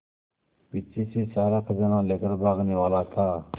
पीछे से सारा खजाना लेकर भागने वाला था